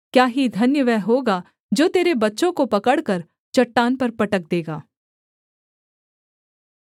क्या ही धन्य वह होगा जो तेरे बच्चों को पकड़कर चट्टान पर पटक देगा